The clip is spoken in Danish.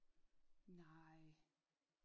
Nej